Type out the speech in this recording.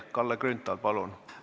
Kalle Grünthal, palun!